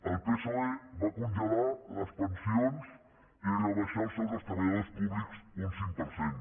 el psoe va congelar les pensions i rebaixar els sous dels treballadors públics un cinc per cent